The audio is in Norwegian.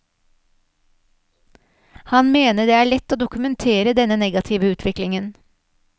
Han mener det er lett å dokumentere denne negative utviklingen.